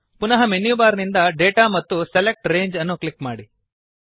ಪುನಃ menu bar ನಿಂದ data ಮತ್ತು ಸೆಲೆಕ್ಟ್ ರಂಗೆ ಅನ್ನು ಕ್ಲಿಕ್ ಮಾಡಿ